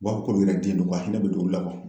U b'a fɔ k'olu yɛrɛ den do a hinɛ be don olu la